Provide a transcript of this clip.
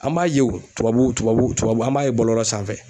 An b'a ye o tubabu tubabu tubabu an b'a ye bɔlɔlɔ sanfɛ.